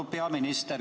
Austatud peaminister!